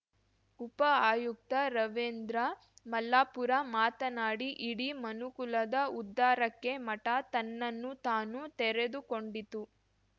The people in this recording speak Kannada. ಉಪ ಆಯುಕ್ತ ರವೀಂದ್ರ ಮಲ್ಲಾಪುರ ಮಾತನಾಡಿ ಇಡೀ ಮನುಕುಲದ ಉದ್ಧಾರಕ್ಕೆ ಮಠ ತನ್ನನ್ನು ತಾನು ತೆರೆದುಕೊಂಡಿತು